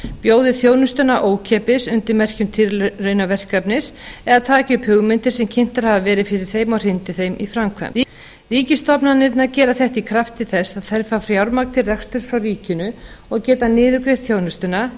bjóði þjónustuna ókeypis undir merkjum tilraunaverkefnis eða taki upp hugmyndir sem kynntar hafa verið fyrir þeim og hrindi þeim í framkvæmd ríkisstofnanirnar gera þetta í krafti þess að þær fá fjármagn til reksturs frá ríkinu og geta niðurgreitt þjónustuna